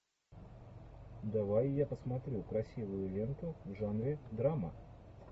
давай я посмотрю красивую ленту в жанре драма